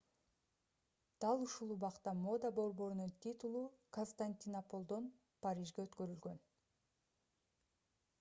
дал ушул убакта мода борборунун титулу константинополдон парижге өткөрүлгөн